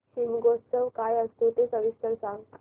शिमगोत्सव काय असतो ते सविस्तर सांग